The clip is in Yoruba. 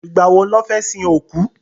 Ìgbà wo lọ́ fẹ́ sin òkú?